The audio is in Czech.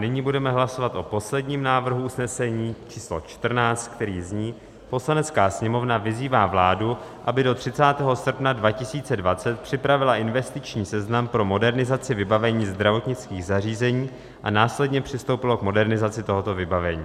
Nyní budeme hlasovat o posledním návrhu usnesení číslo 14, který zní: "Poslanecká sněmovna vyzývá vládu, aby do 30. srpna 2020 připravila investiční seznam pro modernizaci vybavení zdravotnických zařízení a následně přistoupila k modernizaci tohoto vybavení."